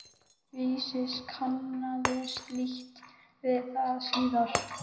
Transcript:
Vísis kannaðist lítt við það síðar.